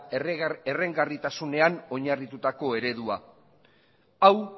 errentagarritasunean oinarritutako eredua hau